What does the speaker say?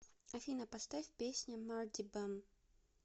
афина поставь песня марди бам